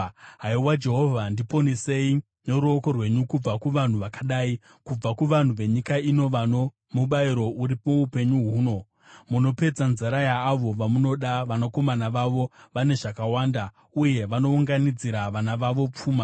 Haiwa, Jehovha, ndiponesei noruoko rwenyu kubva kuvanhu vakadai, kubva kuvanhu venyika ino vano mubayiro uri muupenyu huno. Munopedza nzara yaavo vamunoda; vanakomana vavo vane zvakawanda, uye vanounganidzira vana vavo pfuma.